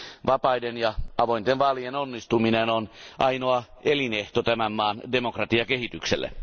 Vapaiden ja avointen vaalien onnistuminen on ainoa elinehto tämän maan demokratiakehitykselle.